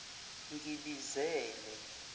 ngibizele